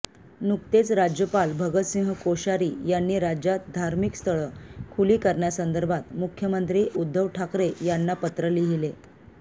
नुकतेच राज्यपाल भगतसिंह कोश्यारी यांनी राज्यात धार्मिकस्थळं खुली करण्यासंदर्भात मुख्यमंत्री उद्धव ठाकरे यांना पत्र लिहिले